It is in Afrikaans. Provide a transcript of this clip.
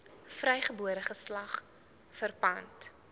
vrygebore geslag verpand